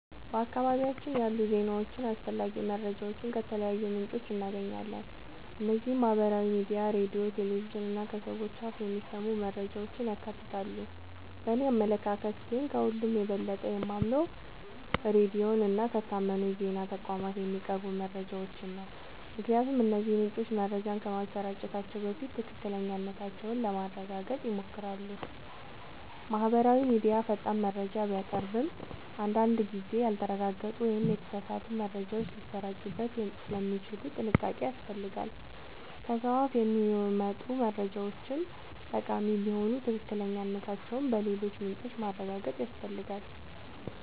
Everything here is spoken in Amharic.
በአካባቢያችን ያሉ ዜናዎችንና አስፈላጊ መረጃዎችን ከተለያዩ ምንጮች እናገኛለን። እነዚህም ማህበራዊ ሚዲያ፣ ሬዲዮ፣ ቴሌቪዥን እና ከሰዎች አፍ የሚሰሙ መረጃዎችን ያካትታሉ። በእኔ አመለካከት ግን፣ ከሁሉ የበለጠ የማምነው ሬዲዮን እና ከታመኑ የዜና ተቋማት የሚቀርቡ መረጃዎችን ነው። ምክንያቱም እነዚህ ምንጮች መረጃዎችን ከማሰራጨታቸው በፊት ትክክለኛነታቸውን ለማረጋገጥ ይሞክራሉ። ማህበራዊ ሚዲያ ፈጣን መረጃ ቢያቀርብም፣ አንዳንድ ጊዜ ያልተረጋገጡ ወይም የተሳሳቱ መረጃዎች ሊሰራጩበት ስለሚችሉ ጥንቃቄ ያስፈልጋል። ከሰው አፍ የሚመጡ መረጃዎችም ጠቃሚ ቢሆኑ ትክክለኛነታቸውን በሌሎች ምንጮች ማረጋገጥ ያስፈልጋል።